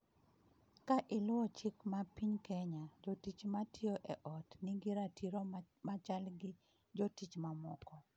Ka iluwo chik ma piny Kenya, jotich ma tiyo e ot nigi ratiro machal gi jotich mamoko.